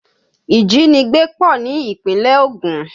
Ìjínigbé pọ̀ ní ìpínlẹ̀ Ògùn